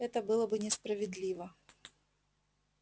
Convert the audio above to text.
это было бы несправедливо